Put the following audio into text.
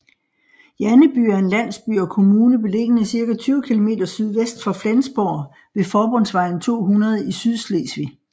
Janneby er en landsby og kommune beliggende cirka 20 kilometer sydvest for Flensborg ved forbundsvejen 200 i Sydslesvig